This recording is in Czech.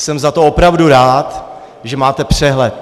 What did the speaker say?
Jsem za to opravdu rád, že máte přehled.